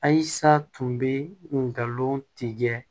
Ayisa tun bɛ ngalon tigɛ